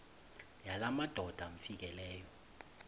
yala madoda amfikeleyo